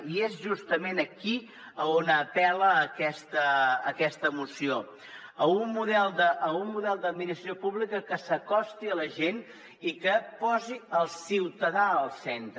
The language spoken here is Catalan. i és justament aquí on apel·la aquesta moció a un model d’administració pública que s’acosti a la gent i que posi el ciutadà al centre